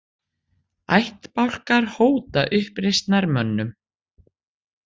Ættbálkar hóta uppreisnarmönnum